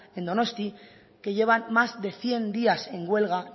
en donosti que llevan más de cien días en huelga